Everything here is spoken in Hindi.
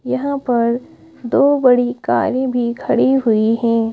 यहां पर दो बड़ी कारें भी खड़ी हुई हैं।